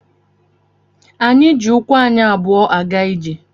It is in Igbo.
Anyị jị ụkwụ anyị abụọ a ga ijè